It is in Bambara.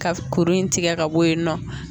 Ka kuru in tigɛ ka bɔ yen nɔ.